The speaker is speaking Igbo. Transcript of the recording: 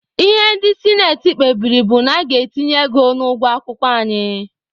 Ihe ndị sinati kpebiri bụ na a ga-etinye ego n'ụgwọ akwụkwọ anyị.